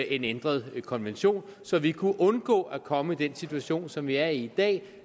en ændret konvention så vi kunne undgå at komme i den situation som vi er i i dag